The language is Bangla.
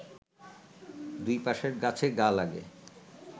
দুই পাশের গাছে গা লাগে